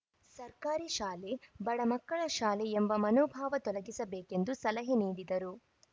ಸರ್ಕಾರಿ ಶಾಲೆ ಬಡಮಕ್ಕಳ ಶಾಲೆ ಎಂಬ ಮನೋಭಾವ ತೊಲಗಿಸಬೇಕೆಂದು ಸಲಹೆ ನೀಡಿದರು